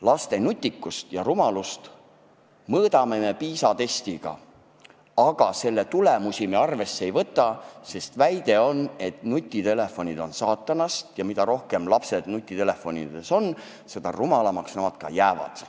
Laste nutikust ja rumalust mõõdame me PISA-testiga, aga selle tulemusi me arvesse ei võta, sest väide on, et nutitelefonid on saatanast, ja mida rohkem lapsed nutitelefonides on, seda rumalamaks nad ka jäävad.